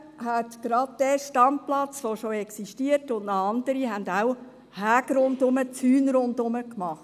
Gerade auch bei diesem Standplatz, der schon existiert, und auch bei anderen, hat man Zäune rundherum gemacht.